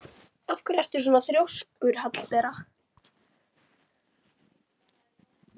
Af hverju ertu svona þrjóskur, Hallbera?